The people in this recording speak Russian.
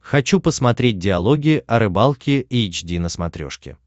хочу посмотреть диалоги о рыбалке эйч ди на смотрешке